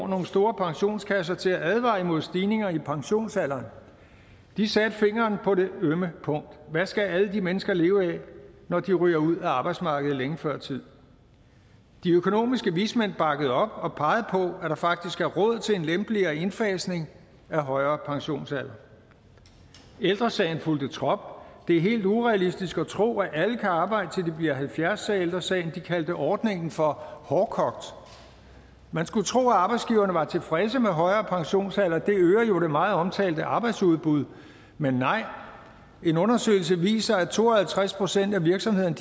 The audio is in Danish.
nogle store pensionskasser til at advare imod stigninger i pensionsalderen de satte fingeren på det ømme punkt hvad skal alle de mennesker leve af når de ryger ud af arbejdsmarkedet længe før tid de økonomiske vismænd bakkede op og pegede på at der faktisk er råd til en lempeligere indfasning af højere pensionsalder ældre sagen fulgte trop og det er helt urealistisk at tro at alle kan arbejde til de bliver halvfjerds sådan sagde ældre sagen og kaldte ordningen for hårdkogt men skulle tro at arbejdsgiverne var tilfredse med højere pensionsalder for det øger jo det meget omtalte arbejdsudbud men nej en undersøgelse viser at to og halvtreds procent af virksomhederne